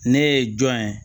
Ne ye jɔn ye